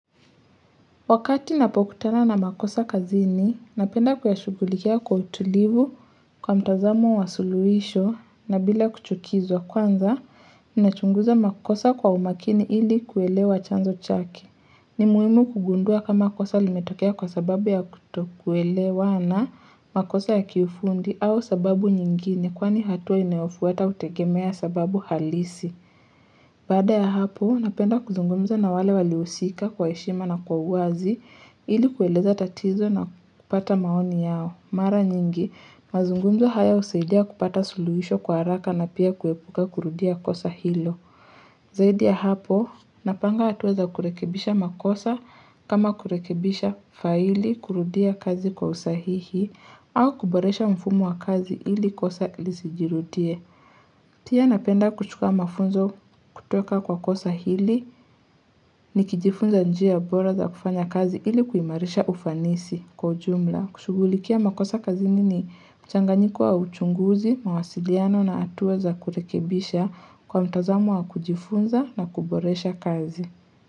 Wakati napokutana na makosa kazini, napenda kuyashugulikia kwa utulivu kwa mtazamo wa suluhisho na bila kuchukizwa kwanza, ninachunguza makosa kwa umakini ili kuelewa chanzo chake ni muimu kugundua kama kosa limetokea kwa sababu ya kutokuelewa na makosa ya kiufundi au sababu nyingine kwani hatua inayofuata kutegemea sababu halisi. Bada ya hapo, napenda kuzungumza na wale waliousika kwa heshima na kwa uazi ili kueleza tatizo na kupata maoni yao. Mara nyingi, mazungumzo haya husaidia kupata suluhisho kwa haraka na pia kuepuka kurudia kosa hilo. Zaidi ya hapo, napanga hatua za kurekebisha makosa kama kurekebisha faili kurudia kazi kwa usahihi au kuboresha mfumo wa kazi ili kosa ilisijirutie. Tia napenda kuchuka mafunzo kutoka kwa kosa hili ni kijifunza njia bora za kufanya kazi hili kuimarisha ufanisi kwa ujumla. Kushugulikia makosa kazi nini mchanganyiko wa uchunguzi, mawasiliano na hatuwa za kurekebisha kwa mtazamu wa kujifunza na kuboresha kazi.